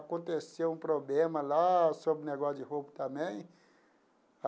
Aconteceu um problema lá sobre negócio de roupa também.